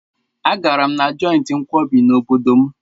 Agara m na jọịntị nkwọbi n'obodo m.